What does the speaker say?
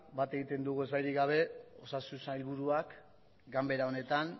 bat egiten dugu ezbairik gabe osasun sailburuak ganbera honetan